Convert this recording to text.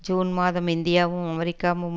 June மாதம் இந்தியாவும் அமெரிக்காவும்